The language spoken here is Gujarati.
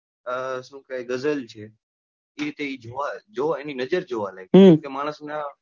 આહ શું કે ગઝલ છે એ કે જે હોય એની નજર જોવા લાયક હોય છે કે માનસના,